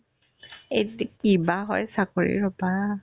এইদে কিবা হয় চাকৰি ৰ'বা